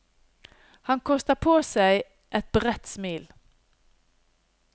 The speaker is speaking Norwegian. Han koster på seg et bredt smil.